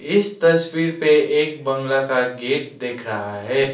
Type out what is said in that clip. इस तस्वीर पे एक बंगला का गेट दिख रहा है।